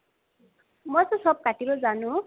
মইটো চব কাটিব জানো।